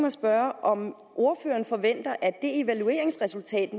at spørge om ordføreren forventer at det evalueringsresultat